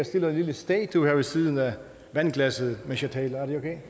stiller en lille statue her ved siden af vandglasset mens jeg taler er det